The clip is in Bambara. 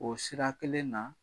O sira kelen na